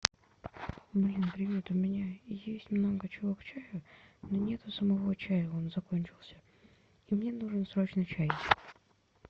блин привет у меня есть много чего к чаю но нету самого чая он закончился и мне нужен срочно чай